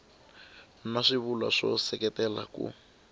na swivulwa swo seketela ku